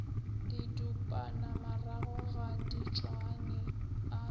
didupanamarago ga di tšwane a